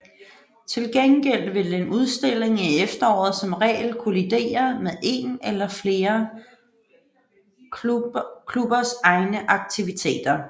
Til gengæld vil en udstilling i efteråret som regel kollidere med en eller flere klubbers egne aktiviteter